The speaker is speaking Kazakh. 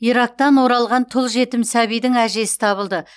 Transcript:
ирактан оралған тұл жетім сәбидің әжесі табылды